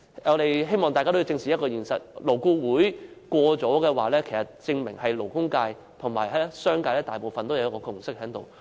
我希望大家正視現實，如果勞顧會贊同某項建議，證明勞工界及商界大部分人士均已達致共識。